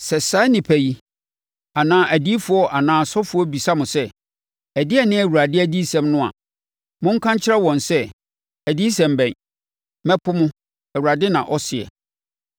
“Sɛ saa nnipa yi, anaa odiyifoɔ anaa ɔsɔfoɔ bisa mo sɛ, ‘Ɛdeɛn ne Awurade adiyisɛm no a?’ Monka nkyerɛ wɔn sɛ, ‘Adiyisɛm bɛn? Mɛpo mo, Awurade na ɔseɛ.’